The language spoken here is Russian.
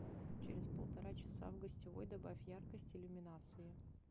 через полтора часа в гостевой добавь яркость иллюминации